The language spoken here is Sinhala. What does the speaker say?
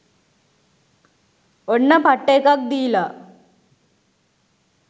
ඔන්න පට්ට එකක් දීලා .